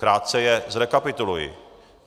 Krátce je zrekapituluji.